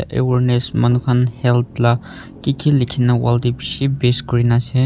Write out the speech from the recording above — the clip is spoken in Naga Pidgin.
awareness manukhan health la kiki likhina wall te bishi paste kurina ase.